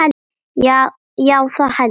Já, það held ég.